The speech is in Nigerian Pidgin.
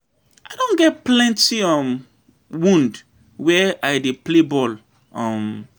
I don get plenty um wound where I dey play ball, um.